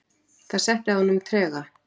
Það setti að honum trega.